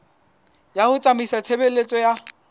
ya ho tsamaisa tshebeletso ya